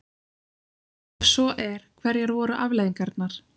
Ef svo er, hverjar voru afleiðingarnar?